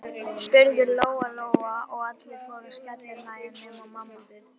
spurði Lóa Lóa, og allir fóru að skellihlæja nema mamma.